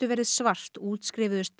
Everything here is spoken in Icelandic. verið svart útskrifuðust